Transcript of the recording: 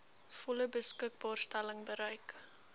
volle beskikbaarstelling bereik